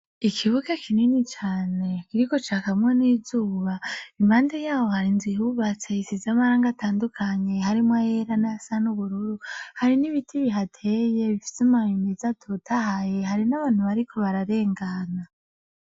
Ikibuke kinini cane kiriko ca kamwo n'izuba imande yabo hari nzu ihubatseyisizamaranga atandukanye harimwo ayera n'a san' ubururu hari n'ibiti bihateye bifiseumamimeza atotahaye hari n'abantu bariko bararengana.